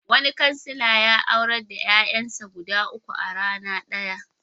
Wani kansila ya aurar da ƴaƴansu guda uku a rana ɗaya.